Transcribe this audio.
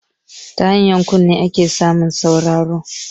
Ta hanyar kunne ake samu ayi sauraro